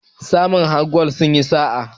masu hakar gwal sun yi sa a